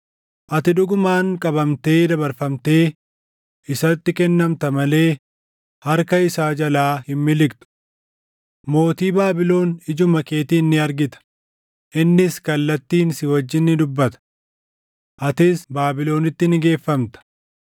Ati dhugumaan qabamtee dabarfamtee isatti kennamta malee harka isaa jalaa hin miliqxu. Mootii Baabilon ijuma keetiin ni argita; innis kallattiin si wajjin ni dubbata. Atis Baabilonitti ni geeffamta.